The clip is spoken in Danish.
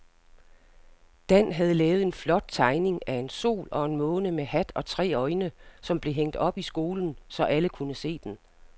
Dan havde lavet en flot tegning af en sol og en måne med hat og tre øjne, som blev hængt op i skolen, så alle kunne se den.